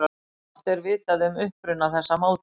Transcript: Fátt er vitað um uppruna þessa máltækis.